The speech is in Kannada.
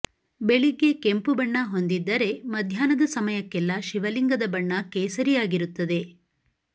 ಬೆಳಿಗ್ಗೆ ಕೆಂಪು ಬಣ್ಣ ಹೊಂದಿದ್ದರೆ ಮಧ್ಯಾಹ್ನದ ಸಮಯಕ್ಕೆಲ್ಲ ಶಿವಲಿಂಗದ ಬಣ್ಣ ಕೇಸರಿಯಾಗಿರುತ್ತದೆ